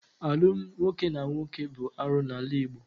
Alụmdi nwoke na nwoke bụ arụ n'ala Igbo.